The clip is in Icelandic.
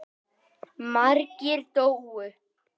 Margir dóu.